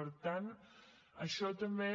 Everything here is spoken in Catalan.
per tant això també